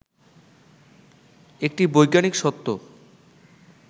একটি বৈজ্ঞানিক সত্য